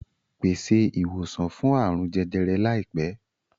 Pèsè ìwòsàn fún àrùn jẹjẹrẹ láìpẹ́!